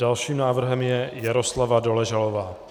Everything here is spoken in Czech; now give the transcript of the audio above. Dalším návrhem je Jaroslava Doležalová.